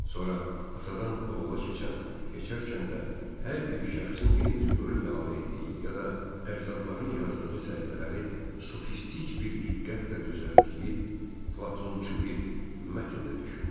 Sonra atadan oğula keçən, keçərkən də hər bir şəxsin yeni bir bölüm əlavə etdiyi ya da əcdadların yazdığı səhifələri sufistik bir diqqətlə düzəltdiyi Platonçu bir mətn də düşündüm.